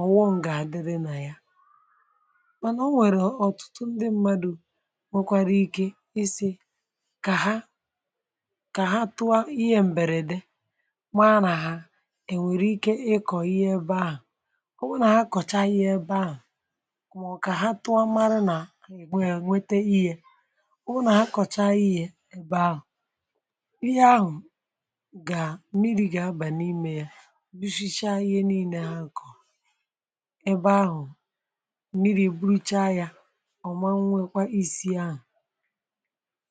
ọ̀ghọṅ gà-àdị, dị nà ya. um Mánà, o nwere ọ̀tụtụ ndị mmadụ̀ nwekwara ike ise, ka ha tụọ ihe m̀bèrèdè. Kwa nà, ha nwekwara ike ịkọ̀ ihe ebe ahụ̀, mākà ọ̀kà ha tụọ, mārụ nà ègbè, ènwete ihe, ụnọ̀ ha kọ̀cha ihe ebe ahụ̀. um Ihe ahụ̀ gà, mmìrì gà-abà n’ime ya, rùshịchá ihe niile ha n’kọ̀ ebe ahụ̀.Mmìrì buruicha ya. Ọ̀ ma nwekwara isi ahụ̀,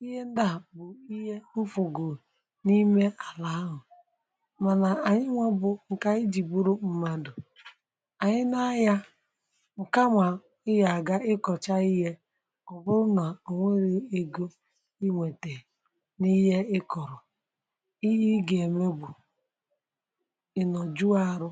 ihe ndà bụ̀ ihe mfọ̀gò n’ime àlà ahụ̀, um mánà ànyị nwe bụ̀ nke ànyị jì gbùrù mmadụ̀. Ị, um ya-aga ịkọcha ihe, ọ bụrụ na onwere ego ị nwete n’ihe ị kọ̀rọ̀, ihe ị ga-emegbù, ị nọjụ arụ.